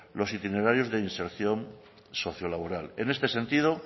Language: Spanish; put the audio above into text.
los itinerarios de inserción socio laboral en este sentido